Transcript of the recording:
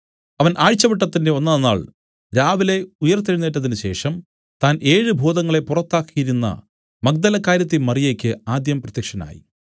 അവൻ ആഴ്ചവട്ടത്തിന്റെ ഒന്നാം നാൾ രാവിലെ ഉയിർത്തെഴുന്നേറ്റതിനുശേഷം താൻ ഏഴ് ഭൂതങ്ങളെ പുറത്താക്കിയിരുന്ന മഗ്ദലക്കാരത്തി മറിയയ്ക്ക് ആദ്യം പ്രത്യക്ഷനായി